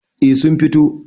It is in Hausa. eh sun fito